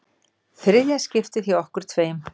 Þriðja skiptið hjá okkur tveim.